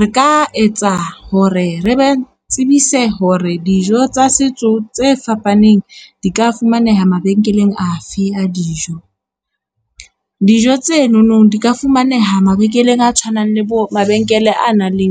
Re ka etsa hore re ba tsebise hore dijo tsa setso tse fapaneng di ka fumaneha mabenkeleng afe a dijo. Dijo tse nonong di ka fumaneha mabenkeleng a tshwanang le bo mabenkele a nang le